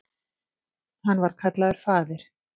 Hann var kallaður faðir